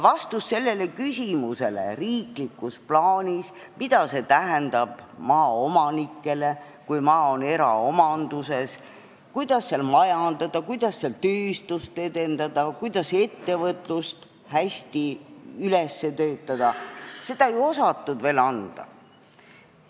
Vastust sellele, mida see kõik tähendab maaomanikele, kui maa on eraomanduses, ning kuidas seal majandada, kuidas seal tööstust edendada ja kuidas ettevõtlust hästi üles töötada, ei osatud riiklikus plaanis veel anda.